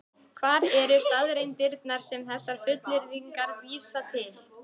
Hvar eru staðreyndirnar sem þessar fullyrðingar vísa til?